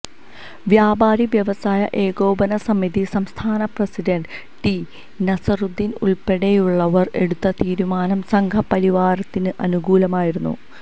വ്യാപാരി വ്യവസായി ഏകോപന സമിതി സംസ്ഥാന പ്രസിഡന്റ് ടി നസറുദ്ദീന് ഉള്പ്പെടെയുള്ളവര് എടുത്ത തീരുമാനം സംഘ്പരിവാരത്തിന് അനുകൂലമായിരുന്നു